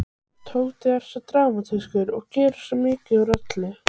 Tóti er svo dramatískur og gerir svo mikið úr öllu.